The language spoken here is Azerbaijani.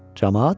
Camaat?